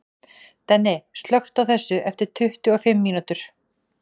Denni, slökktu á þessu eftir tuttugu og fimm mínútur.